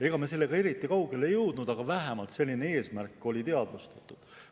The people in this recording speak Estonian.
Ega me sellega eriti kaugele ei jõudnud, aga vähemalt oli selline eesmärk teadvustatud.